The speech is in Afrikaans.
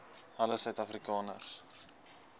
alle suid afrikaners